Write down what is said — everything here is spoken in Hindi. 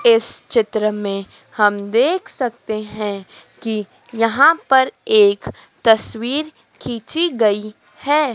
इस चित्र में हम देख सकते हैं कि यहां पर एक तस्वीर खींची गई है।